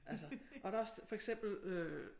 Altså og der også for eksempel øh